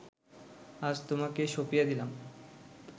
আজ তোমাকে সঁপিয়া দিলাম